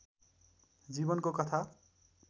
जीवनको कथा